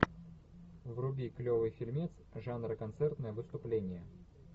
вруби клевый фильмец жанра концертное выступление